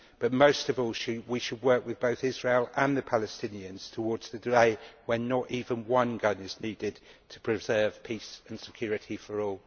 But, most of all, we should work with both Israel and the Palestinians towards the day when not even one gun is needed to preserve peace and security for all.